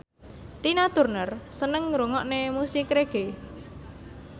Tina Turner seneng ngrungokne musik reggae